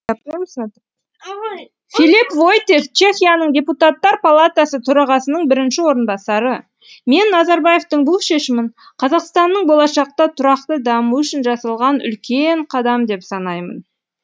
филип войтех чехияның депутаттар палатасы төрағасының бірінші орынбасары мен назарбаевтың бұл шешімін қазақстанның болашақта тұрақты дамуы үшін жасалған үлкен қадам деп санаймын